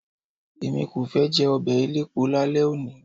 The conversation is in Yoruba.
Èmi kò fẹ́ jẹ ọbẹ̀ elépo lálẹ́ òní.